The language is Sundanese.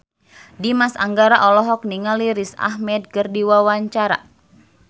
Dimas Anggara olohok ningali Riz Ahmed keur diwawancara